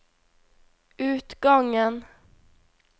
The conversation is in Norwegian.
utgangen